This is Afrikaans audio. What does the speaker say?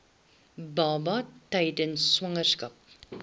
baba tydens swangerskap